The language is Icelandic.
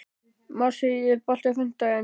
Marsý, er bolti á fimmtudaginn?